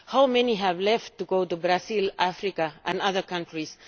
How many have left to go to Brazil, Africa and other countries?